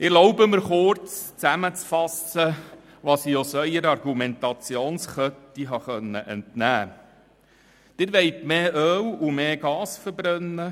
Ich erlaube mir kurz zusammenzufassen, was ich aus Ihrer Argumentationskette habe entnehmen können.